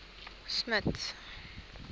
smuts